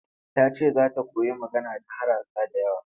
Ta ce za ta koyi magana da harasa da yawa.